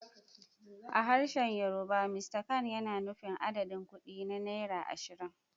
A harshen Yorùbá, "Mr kan" yana nufin adadin kuɗi na naira ashirin.